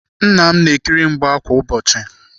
Nna m na-ekiri mgba kwa ụbọchị.